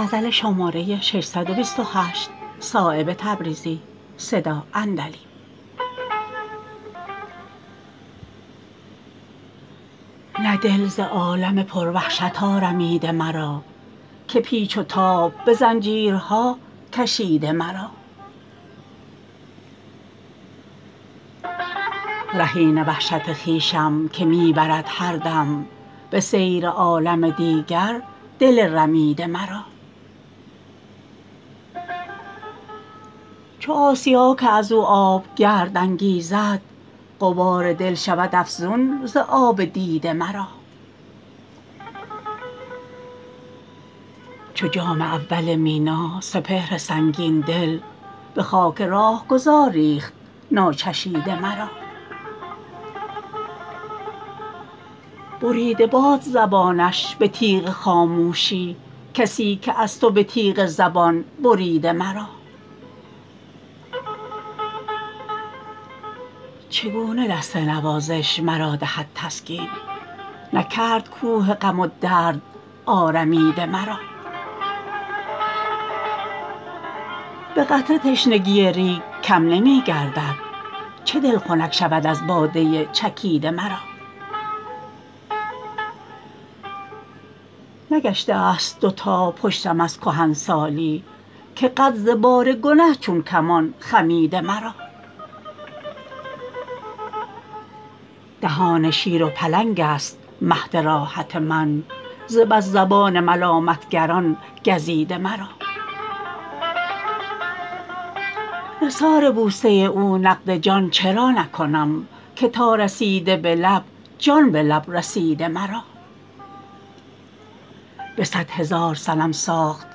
نه دل ز عالم پر وحشت آرمیده مرا که پیچ و تاب به زنجیرها کشیده مرا رهین وحشت خویشم که می برد هر دم به سیر عالم دیگر دل رمیده مرا چو آسیا که ازو آب گرد انگیزد غبار دل شود افزون ز آب دیده مرا چو جام اول مینا سپهر سنگین دل به خاک راهگذر ریخت ناچشیده مرا بریده باد زبانش به تیغ خاموشی کسی که از تو به تیغ زبان بریده مرا چگونه دست نوازش مرا دهد تسکین نکرد کوه غم و درد آرمیده مرا به قطره تشنگی ریگ کم نمی گردد چه دل خنک شود از باده چکیده مرا نگشته است دو تا پشتم از کهنسالی که قد ز بار گنه چون کمان خمیده مرا دهان شیر و پلنگ است مهد راحت من ز بس زبان ملامتگران گزیده مرا نثار بوسه او نقد جان چرا نکنم که تا رسیده به لب جان به لب رسیده مرا به صد هزار صنم ساخت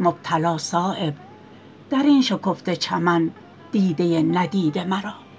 مبتلا صایب درین شکفته چمن دیده ندیده مرا